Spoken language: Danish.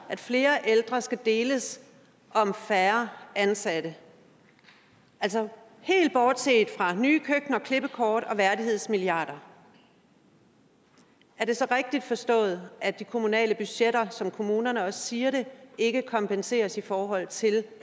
at flere ældre skal deles om færre ansatte helt bortset fra nye køkkener klippekort og værdighedsmilliarder er det så rigtigt forstået at de kommunale budgetter som kommunerne også siger det ikke kompenseres i forhold til